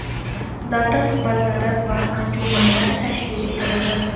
davra suhbatlari va anjumanlar tashkil etiladi.